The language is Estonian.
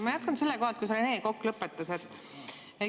Ma jätkan selle koha pealt, kus Rene Kokk lõpetas.